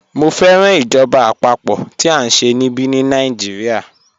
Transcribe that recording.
Mọ̀ fẹ́ràn ìjọba apapo tí a nṣẹ̀ níbí ní Nàìjíríà